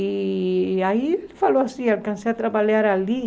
E aí ele falou assim, alcancei a trabalhar ali.